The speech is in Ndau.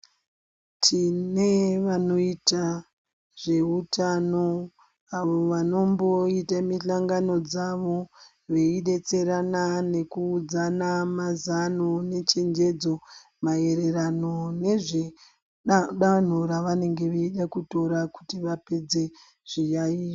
Tine vanoita zveutano avo vanomboita mihlongano dzavo, veidetserana nekuudzana mazano nechenjedzo maererano nezve danho ravanenge veida kutora kuti vapedze zviyaiyo.